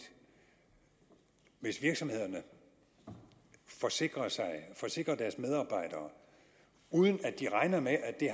hvis virksomhederne forsikrede deres medarbejdere uden at de regnede med at det